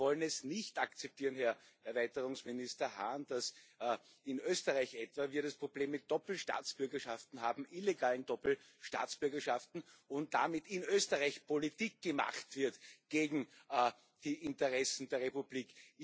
Wir wollen es nicht akzeptieren, Herr Erweiterungsminister Hahn, dass wir in Österreich etwa das Problem mit Doppelstaatsbürgerschaft haben, illegalen Doppelstaatsbürgerschaften, und damit in Österreich Politik gemacht wird gegen die Interessen der Republik.